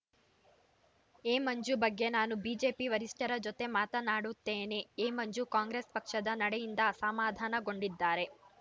ಎಮಂಜು ಬಗ್ಗೆ ನಾನು ಬಿಜೆಪಿ ವರಿಷ್ಠರ ಜೊತೆ ಮಾತನಾಡುತ್ತೇನೆ ಎಮಂಜು ಕಾಂಗ್ರೆಸ್ ಪಕ್ಷದ ನಡೆಯಿಂದ ಅಸಾಮಾಧಾನಗೊಂಡಿದ್ದಾರೆ